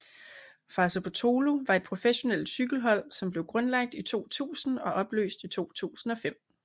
Fassa Bortolo var et professionelt cykelhold som blev grundlagt i 2000 og opløst i 2005